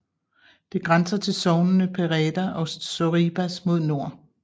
Det grænser til sognene Pereda og Sorribas mod nord